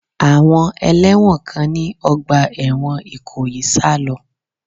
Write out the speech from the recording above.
Àwọn ẹlẹ́wọ̀n kan ní ọgbà ẹ̀wọ̀n Ìkòyí sá lọ.